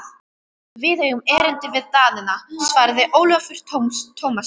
Við eigum erindi við Danina, svaraði Ólafur Tómasson.